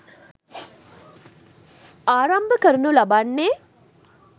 ආරම්භ කරනු ලබන්නේ